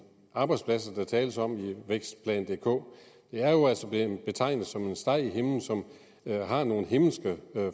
arbejdspladser der tales om i vækstplan dk er jo altså blevet betegnet som en steg i himlen som har nogle himmelske